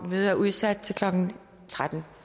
mødet er udsat til klokken tretten